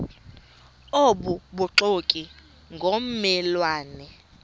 obubuxoki ngomme lwane